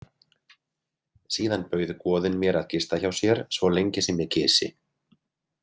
Síðan bauð goðinn mér að gista hjá sér svo lengi sem ég kysi.